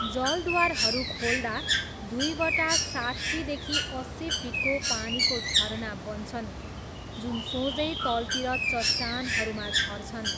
जलद्वारहरू खोल्दा दुईवटा साट्ठीदेखि अस्सी फिटको पानीको झरना बन्छन्, जुन सोझै तल्तिर चट्टानहरूमा झर्छन्।